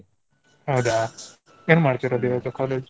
ಹೌದಾ. ಏನ್ ಮಾಡ್ತಿರೋದ್ ಇವಾಗ college ?